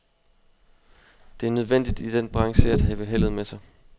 Det er nødvendigt i den branche at have heldet med sig.